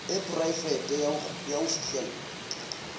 e poraefete ya ho fihlella